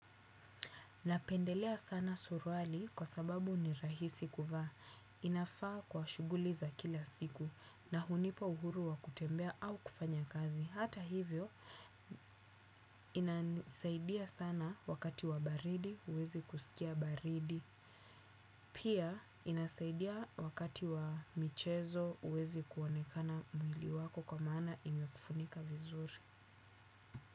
Napendelea sana suruali kwa sababu ni rahisi kuvaa. Inafaa kwa shughuli za kila siku na hunipa uhuru wa kutembea au kufanya kazi. Hata hivyo, inasaidia sana wakati wa baridi huwezi kusikia baridi. Pia, inasaidia wakati wa michezo huwezi kuonekana mwili wako kwa maana imekufunika vizuri.